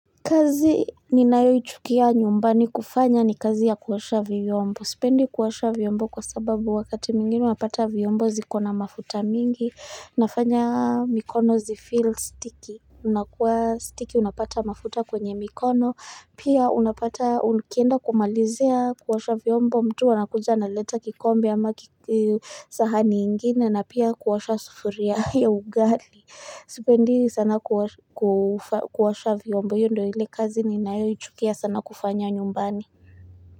Kazi ninayoi chukia nyumbani kufanya ni kazi ya kuosha viyombo. Sipendi kuosha viyombo kwa sababu wakati mginu mapata viyombo zikona mafuta mingi. Nafanya mikono zi feel sticky. Unakuwa sticky unapata mafuta kwenye mikono. Pia unapata unikienda kumalizea kuwasha viyombo. Mtu wanakuja analeta kikombe ama kisahani ingine na pia kuosha sufuria ya ugali. Sipendi sana kuosha vyombo iyo ndoo ile kazi ni nayo yuchukia sana kufanya nyumbani.